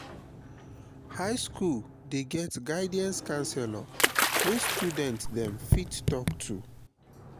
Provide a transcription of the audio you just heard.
high skool dey get guidance counselor wey student dem fit talk to.